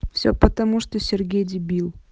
все потому что сергей дебил